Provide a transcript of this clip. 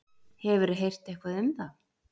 Hefurðu heyrt eitthvað um það?